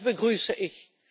Das begrüße ich.